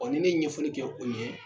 ni ne ɲɛfɔli kɛ o ɲɛ